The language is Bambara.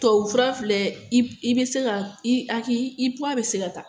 Tubabufura filɛ i i be se ka i a k'i i puwa be se ka ta